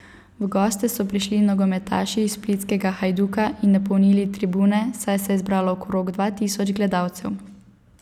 V goste so prišli nogometaši splitskega Hajduka in napolnili tribune, saj se je zbralo okrog dva tisoč gledalcev.